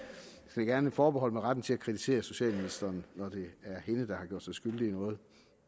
vil gerne forbeholde mig retten til at kritisere socialministeren når det er hende der har gjort sig skyldig i noget og